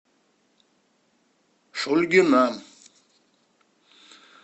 шульгина